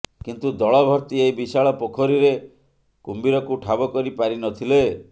କିନ୍ତୁ ଦଳ ଭର୍ତି ଏହି ବିଶାଳ ପୋଖରୀରେ କୁମ୍ଭୀରକୁ ଠାବ କରି ପାରିନଥିଲେ